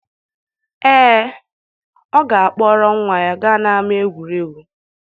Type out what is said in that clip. Ee, ọ ga-akpọrọ nwa ya gaa n'ama egwuregwu.